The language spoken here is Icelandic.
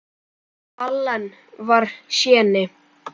Allen var séní.